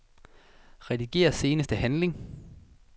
Rediger seneste handling.